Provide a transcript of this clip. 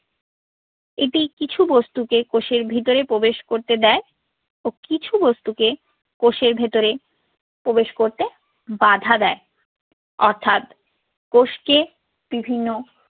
এটি কিছু বস্তুকে কোষের ভেতরে প্রবেশ করতে দেয় ও কিছু বস্তুকে কোষের ভেতরে প্রবেশ করতে বাঁধা দেয়। অর্থাৎ কোষকে বিভিন্ন